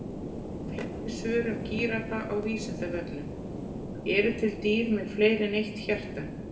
Fleiri svör um gíraffa á Vísindavefnum: Eru til dýr með fleiri en eitt hjarta?